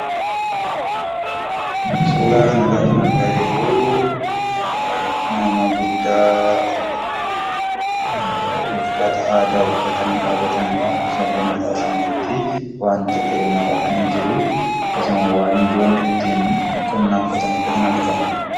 Suuraa kana irraa kan argaa jirru nama guddaa uffata uffatanii jiranii dha. Akkasumas wanta ta'e mataatti maratanii kan jiranii dha. Waanjoon ittiin qonnaan qotamu illee akkasumas cinatti kan argamuu dha.